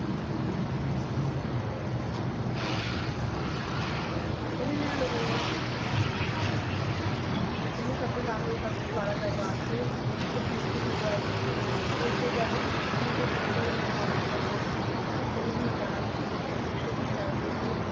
ਇਕ ਗੱਲ ਹੋਰ ਵਿੱਚ ਵੀ, ਕਹਿੰਦੇ ਸਭ ਦੇ ਸਾਹਮਣੇ ਉਸ ਦਾ ਮੂੰਹ ਕਾਲਾ ਕਰਵਾ ਕੇ ਓਸ ਤੋਂ ਭੀਖ ਵੀ ਮੰਗਵਾਈ ਸੀ ਤੇ ਫਿਰ ਜਦ ਪ੍ਰਿਥਵੀ ਦੇ ਪੱਤਰ ਮਹਿਰਵਾਨ ਨੂੰ ਲਾਹੌਰ ਬਚਾਉਣ ਦੀ ਕੋਸ਼ਿਸ਼ ਕੀਤੀ ਤੇ ਨੇ ਵੀ